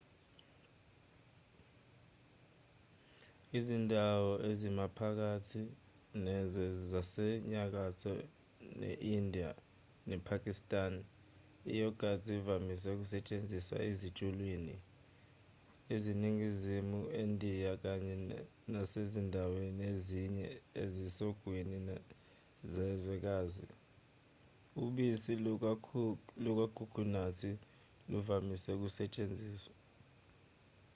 izindawo ezimaphakathi nezwe zasenyakatho nendiya nepakistan i-yogathi ivamise ukusetshenziswa ezitshuliwni eningizimu nendiya kanye nasezindaweni ezinye ezisogwini zezwekazi ubisi lukakhukhunathi luvamise ukusetshenziswa